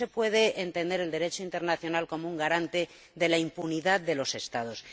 no se puede entender el Derecho internacional como un garante de la impunidad de los Estados.